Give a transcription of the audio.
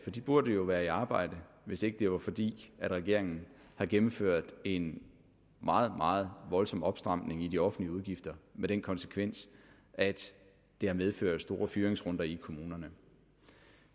for de burde jo være i arbejde hvis ikke det var fordi regeringen havde gennemført en meget meget voldsom opstramning i de offentlige udgifter med den konsekvens at det har medført store fyringsrunder i kommunerne